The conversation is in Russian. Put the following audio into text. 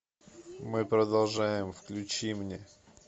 мы продолжаем включи мне